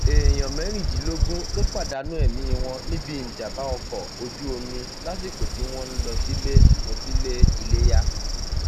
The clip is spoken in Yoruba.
èèyàn mẹrìndínlógún ló pàdánù ẹmí wọn níbi ìjàmbá ọkọ ojú omi lásìkò tí wọn ń lọ sílé lọ sílé iléyà